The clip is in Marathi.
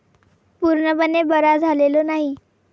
पूर्णपणे बरा झालेलो नाही.